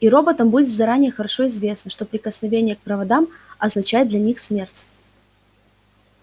и роботам будет заранее хорошо известно что прикосновение к проводам означает для них смерть